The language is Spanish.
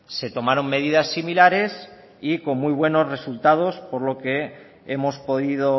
se tomaron medidas similares y con muy buenos resultados por lo que hemos podido